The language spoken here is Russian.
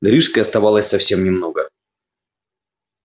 до рижской оставалось совсем немного